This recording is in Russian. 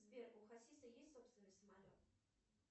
сбер у хасиса есть собственный самолет